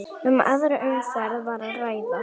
Um aðra umferð var að ræða